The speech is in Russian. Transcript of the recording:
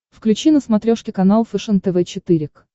включи на смотрешке канал фэшен тв четыре к